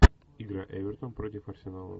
игра эвертон против арсенала